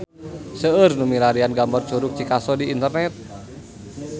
Seueur nu milarian gambar Curug Cikaso di internet